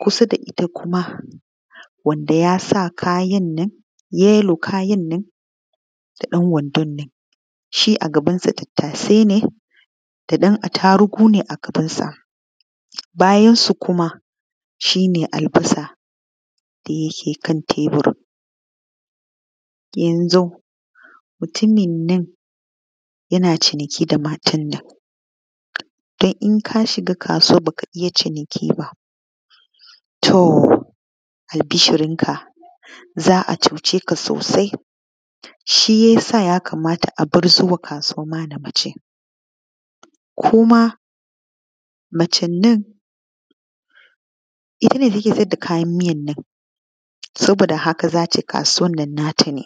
kusa da ita kuma wanda ya sa kayan nan ya yi ɗan wandon nan shi a gabansa tattasai ne ko da ɗan a tarugu ne a gabnsa. Bayan su kuma shi ne albasa da yake kan tebur. Mutumin nnan yana ciniki da idan ka shiga kasuwa ba ka iya ciniki ba, to albishirinka za a cuce ka sosai. Shi ya sa ya kamata a bar zuwa kasuwa na daban mace. Ko ma macen nan ita ce take sayar da kayan miyar nan, haka za ta yi kasuwan na. Na ta ne.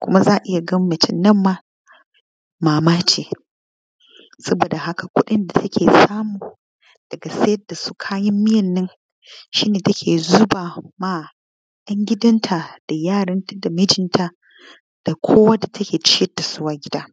Kuma za a iya ganin mutum ne a nan ma mama ce, saboda haka kuɗin da take samu a kayan miyar na shi ne take zuba ma 'yan gudanta da yaran da mijinta da kowa da take ciyar da su a gida.